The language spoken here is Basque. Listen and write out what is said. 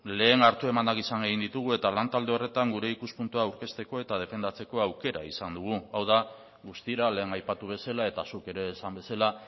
lehen hartu emanak izan egin ditugu eta lantalde horretan gure ikuspuntua aurkezteko eta defendatzeko aukera izan dugu hau da guztira lehen aipatu bezala eta zuk ere esan bezala